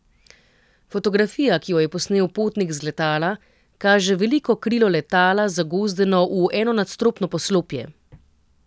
Fotografija, ki jo je posnel potnik z letala, kaže veliko krilo letala, zagozdeno v enonadstropno poslopje.